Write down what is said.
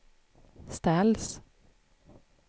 ställs